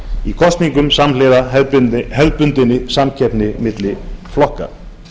í kosningum samhliða hefðbundinni samkeppni á milli flokka